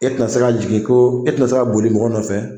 E tɛna se n jigin ko e tɛna se ka boli mɔgɔ nɔfɛ